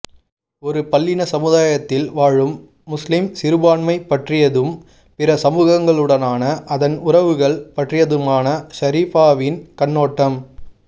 ஒரு பல்லின சமுதாயத்தில் வாழும் முஸ்லிம் சிறுபான்மை பற்றியதும் பிற சமூகங்களுடனான அதன் உறவுகள் பற்றியதுமான ஷரீஆவின் கண்ணோட்டம்